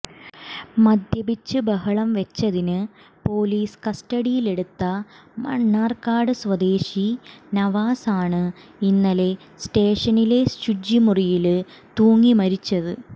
മദ്യപിച്ച് ബഹളം വെച്ചതിന് പോലീസ് കസ്റ്റഡിയിലെടുത്ത മണര്കാട് സ്വദേശി നവാസ് ആണ് ഇന്നലെ സ്റ്റേഷനിലെ ശുചിമുറിയില് തൂങ്ങി മരിച്ചത്